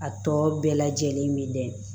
A tɔ bɛɛ lajɛlen min bɛ